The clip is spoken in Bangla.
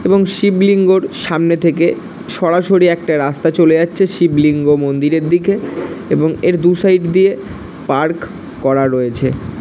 এবং শিবলিঙ্গর সামনে থেকে সরাসরি একটা রাস্তা চলে যাচ্ছে শিবলিঙ্গ মন্দিরের দিকে এবং এর দু-সাইড দিয়ে পার্ক করা রয়েছে।